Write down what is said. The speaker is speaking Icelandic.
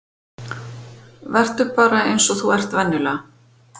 Vertu bara eins og þú ert venjulega.